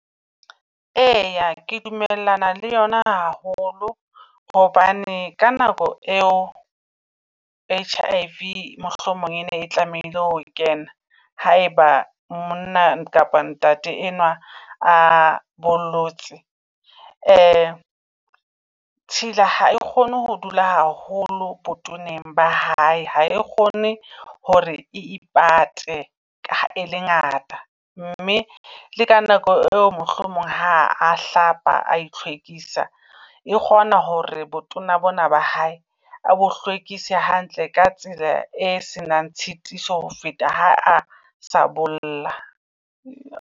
Eya ke dumellana le yona haholo hobane ka nako eo H_I_V mohlomong e ne e tlamehile ho kena haeba monna kapa ntate enwa a bollotse. Tshila ha e kgone ho dula haholo botoneng ba hae. Ha e kgone hore ipate ka ha e le ngata, mme le ka nako eo mohlomong ha a hlapa ai hlwekisa. E kgona hore botona bona ba hae a bo hlwekise hantle ka tsela e senang tshitiso ho feta ha a sa bolla.